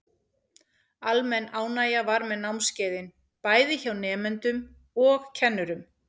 Almenn ánægja var með námskeiðin, bæði hjá nemendum og kennurum.